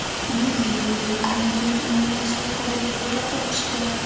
Yuz yuvilgandan keyin uni yaxshilab tabiiy holda quritish kerak.